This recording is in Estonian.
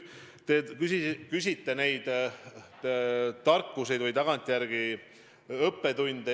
Te küsite ka tagantjärele tarkuse või õppetundide kohta.